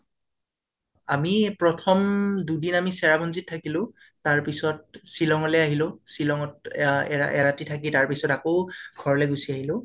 আমি প্ৰথম দুদিন আমি চেৰাপুঞ্জীত থাকিলোঁ তাৰ পিছত শ্বিলং লে আহিলো, শ্বিলং ত এ এ এৰতি থাকি তাৰপিছত আকৌ ঘৰলৈ গুছি আহিলোঁ